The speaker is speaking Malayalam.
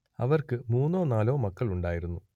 അവർക്ക് മൂന്നോ നാലോ മക്കൾ ഉണ്ടായിരുന്നു